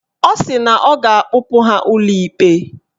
Ọ sị na ọ ga-akpụpụ ha ụlọ ikpe